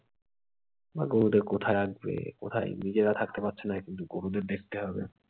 বা গরুদের কোথায় রাখবে কোথায় নিজেরা থাকতে পারছে না, কিন্তু গরুদের দেখতে হবে।